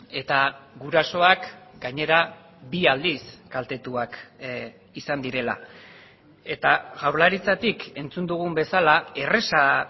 eta gurasoak gainera bi aldiz kaltetuak izan direla eta jaurlaritzatik entzun dugun bezala erraza